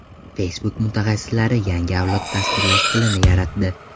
Facebook mutaxassislari yangi avlod dasturlash tilini yaratdi.